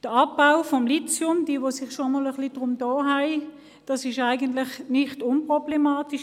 Der Abbau von Lithium ist in den betreffenden Ländern nicht unproblematisch.